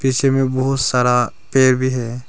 इसमें बहुत सारा पेड़ भी है।